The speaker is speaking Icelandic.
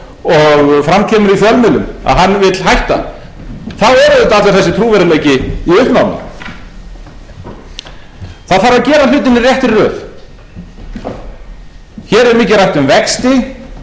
og fram kemur í fjölmiðlum að hann vill hætta þá er auðvitað allur þessi trúverðugleiki í uppnámi það þarf að gera hlutina í réttri röð hér er mikið rætt